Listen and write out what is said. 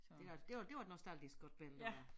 Det var det var det var et nostalgisk godt billede det der